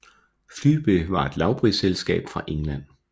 Flybe var et lavprisflyselskab fra England